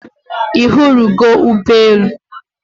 I hụrụ go Ugbe elu?